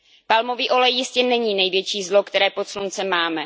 Palmový olej jistě není největší zlo, které pod sluncem máme.